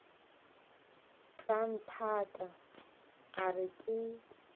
tla nthaka a re ke